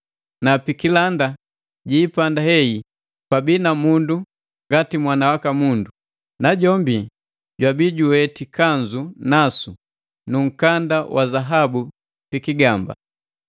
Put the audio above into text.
na pikilanda jiipanda hei pabii na mundu ngati Mwana waka Mundu, najombi jwabi juweti kanzu nasu nu nkanda wa zahabu pikigamba.